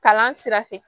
Kalan sira fɛ